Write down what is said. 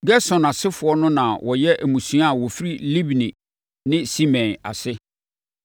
Gerson asefoɔ no na wɔyɛ mmusua a wɔfiri Libni ne Simei ase.